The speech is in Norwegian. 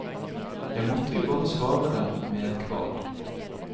Jeg måtte jo bare svare dem med et kvad!